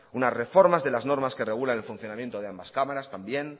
unas reformas de las normas que regulan el funcionamiento de ambas cámaras también